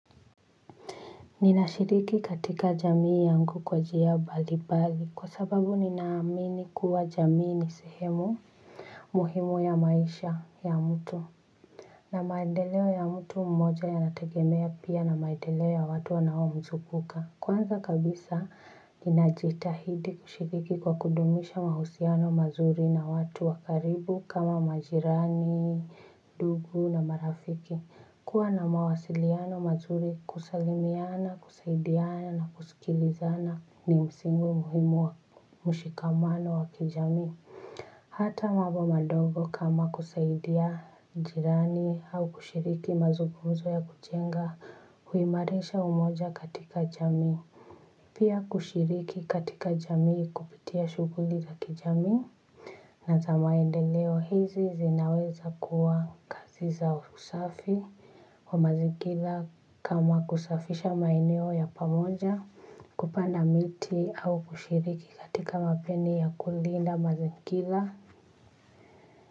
Ninashiriki katika jamii yangu kwa njia mbalimbali kwa sababu ninaamini kuwa jamii ni sehemu muhimu ya maisha ya mtu na maendeleo ya mtu mmoja yanategemea pia na maendeleo ya watu wanaomzunguka. Kwanza kabisa ninajitahidi kushiriki kwa kudumisha mahusiano mazuri na watu wakaribu kama majirani, ndugu na marafiki kuwa na mawasiliano mazuri kusalimiana, kusaidiana na kusikilizana ni msingi muhimu wa mshikamano wa kijamii. Hata mambo madogo kama kusaidia jirani au kushiriki mazungumzo ya kuchanga huimarisha umoja katika jamii. Pia kushiriki katika jamii kupitia shughuli za kijamii. Na za maendeleo hizi zinaweza kuwa kazi za usafi wa mazingira kama kusafisha maeneo ya pamoja kupanda miti au kushiriki katika kampeni ya kulinda mazingira.